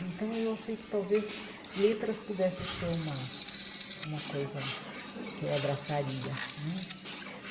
Então eu achei que talvez letras pudesse ser uma uma coisa que eu abraçaria né.